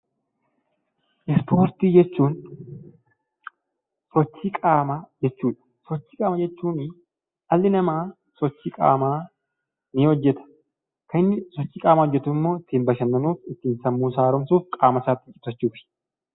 Ispoortii jechuun sochii qaamaa jechuudha. Sochii qaamaa jechuuni dhalli namaa sochii qaamaa ni hojjeta. Kan inni sochii qaamaa hojjetu immoo ittiin bashannanuuf, ittiin sammuusaa haaromsuuf, qaamasaa itti cimsachuufi.